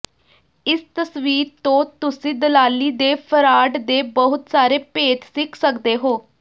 ਇਸ ਤਸਵੀਰ ਤੋਂ ਤੁਸੀਂ ਦਲਾਲੀ ਦੇ ਫਰਾਡ ਦੇ ਬਹੁਤ ਸਾਰੇ ਭੇਦ ਸਿੱਖ ਸਕਦੇ ਹੋ